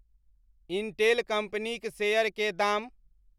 Intel कंपनीक share के दाम